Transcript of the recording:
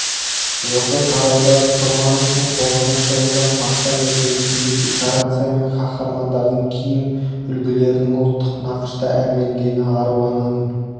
осы тарауда пұсырмановтың тоғызыншы ұлдан сақтан ертегісінде декорация мен қаһармандардың киім үлгілерінің ұлттық нақышта әрленгені аруананың